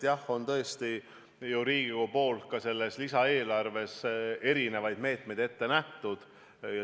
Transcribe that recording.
Jah, tõesti on ju Riigikogul ka selles lisaeelarves erinevaid meetmeid ette nähtud.